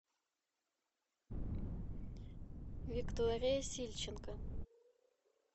виктория сильченко